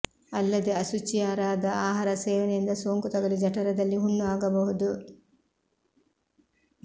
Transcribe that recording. ಅಲ್ಲದೆ ಅಶುಚಿಂುುಾದ ಆಹಾರ ಸೇವನೆಯಿಂದ ಸೋಂಕು ತಗುಲಿ ಜಠರದಲ್ಲಿ ಹುಣ್ಣು ಆಗಬಹುದು